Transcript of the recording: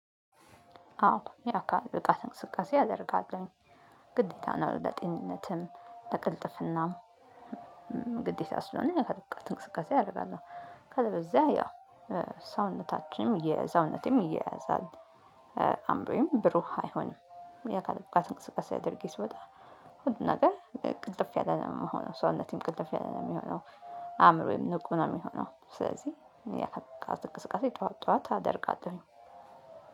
አዎ የአካል ብቃት እንቅስቃሴ አደርጋለሁኝ ግዴታ ነው። ለጤንነትም ለቅልጥፍናም ግዴታ ስለሆነ የአካል ብቃት እንቅስቀሴ አደርጋለሁ። ከዛ ያው ሰውነታችንም የሰውነቴም ይያያዛል። አዕምሮዬም ብሩህ አይሆን። የአካል ብቃት እንቅስቃሴ አድርጌ ስወጣ ሁሉም ነገር ቅልጥፍ ያለ ነው የምሆነው ሰውነቴም ቅልጥፍ ያለ ነው የሚሆነው። አእምሮዬም ንቁ ነው የሚሆነው። ስለዚህ የአካል ብቃት እንቅስቃሴ ጠዋት ጠዋት አደርጋለሁኝ።